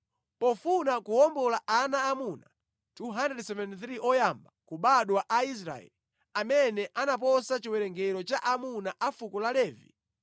Pofuna kuwombola ana aamuna 273 oyamba kubadwa a Aisraeli amene anaposa chiwerengero cha aamuna a fuko la Levi,